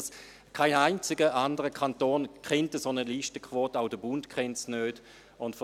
Kein einziger anderer Kanton kennt eine solche Listenquote, auch der Bund kennt diese nicht.